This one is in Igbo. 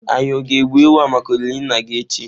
Anyi o ga-egbu ewu a maka olili nna gi echi?